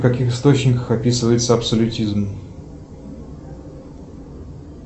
в каких источниках описывается абсолютизм